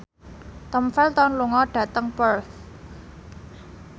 Tom Felton lunga dhateng Perth